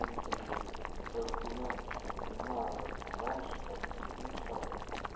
ну как бы такая хуйня то что не знаю как там раньше как в других чатах